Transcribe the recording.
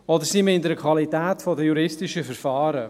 Oder sie mindern die Qualität der juristischen Verfahren.